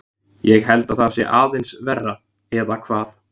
Ég held að það sé aðeins verra, eða hvað?